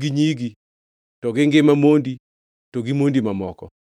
gi nyigi to gi ngima mondi to gi mondi mamoko.